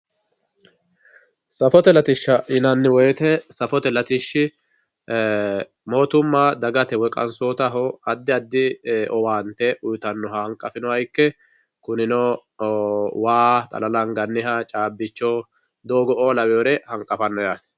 Safote lattisha yinanni woyite safote latishi mootumma dagate woyi qanisottaho adi adi owaanite uyitanohha hanqafinoha ike, kuninno waa xalala anganniha caabicho doogo'o laweeyoore janqafanno yaate.